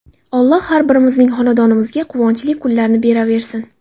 Alloh har birimizning xonadonimizga quvonchli kunlarni beraversin!